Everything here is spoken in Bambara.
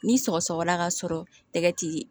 Ni sɔgɔsɔgɔla ka sɔrɔ tɛgɛ ti